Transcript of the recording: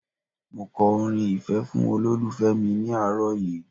Mo kọrin ìfẹ́ fún olólùfẹ́ mi ní àárọ̀ yìí